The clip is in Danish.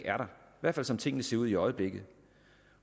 hvert fald som tingene ser ud i øjeblikket